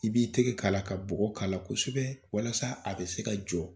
I b'i tɛgɛ k'ala ka bɔ k'ala kosɛbɛ walasa a bɛ se ka jɔ